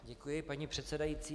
Děkuji, paní předsedající.